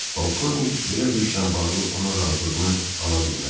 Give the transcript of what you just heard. Polkovnik belə bir işlə bağlı onun razılığını ala bilməz.